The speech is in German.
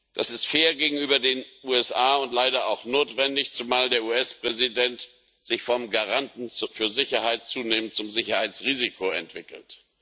Das ist fair gegenüber den USA und leider auch notwendig, zumal der US Präsident sich vom Garanten für Sicherheit zunehmend zum Sicherheitsrisiko entwickelt.